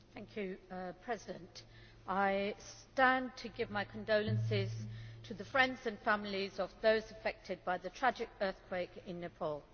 Mr President, I stand to give my condolences to the friends and families of those affected by the tragic earthquake in Nepal.